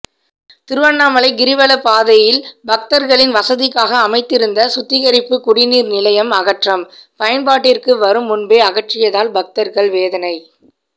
திருவண்ணாமலை கிரிவலப்பாதையில் பக்தர்களின் வசதிக்காக அமைத்திருந்த சுத்திகரிப்பு குடிநீர் நிலையம் அகற்றம் பயன்பாட்டிற்கு வரும் முன்பே அகற்றியதால் பக்தர்கள் வேதனை